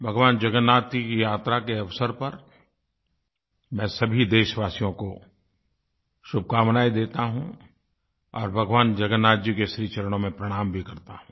भगवान जगन्नाथ जी की यात्रा के अवसर पर मैं सभी देशवासियों को शुभकामनायें देता हूँ और भगवान जगन्नाथ जी के श्रीचरणों में प्रणाम भी करता हूँ